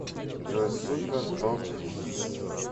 джой супер топ хитс